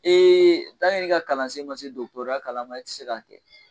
i ka kalansen ma se dɔkɔtɔrɔya kalan ma i ti se ka kɛ.